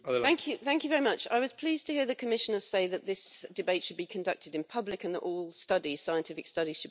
I was pleased to hear the Commissioner say that this debate should be conducted in public and that all scientific studies should be made public.